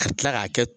Ka tila k'a kɛ